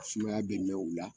Sumaya bɛ mɛn o la